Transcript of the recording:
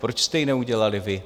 Proč jste ji neudělali vy?